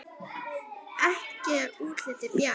Ekki er útlitið bjart!